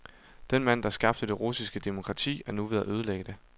Den mand, der skabte det russiske demokrati, er nu ved at ødelægge det.